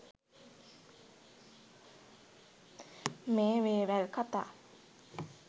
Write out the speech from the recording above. මේ වේවැල් කතා